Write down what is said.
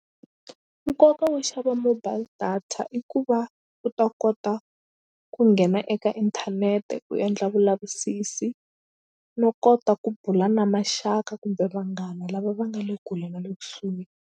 Nkoka wo xava mobile data i ku va u ta kota ku nghena eka inthanete u endla vulavisisi no kota ku bula na maxaka kumbe vanghana lava va nga le kule na le kusuhi.